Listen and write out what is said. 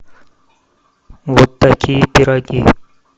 вот такие пироги